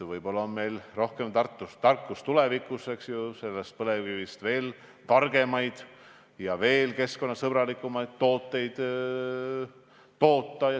Võib-olla on meil tulevikus rohkem tarkust, et põlevkivist veel targemaid ja veel keskkonnasõbralikumaid tooteid toota.